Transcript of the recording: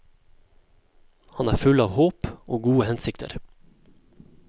Han er full av håp og gode hensikter.